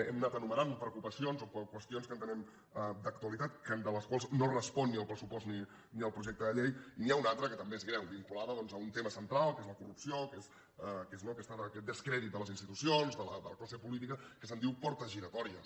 hem anat enumerant preocupacions o qüestions que entenem d’actualitat de les quals no responen ni el pressupost ni el projecte de llei i n’hi ha una altra que també és greu vinculada doncs a un tema central que és la corrupció que és aquest descrèdit de les institucions de la classe política que se’n diu portes giratòries